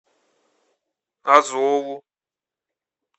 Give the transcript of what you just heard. азову